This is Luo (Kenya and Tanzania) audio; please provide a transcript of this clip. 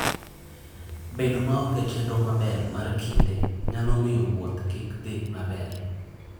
Bedo maonge chenro maber mar kinde nyalo miyo wuoth kik dhi maber.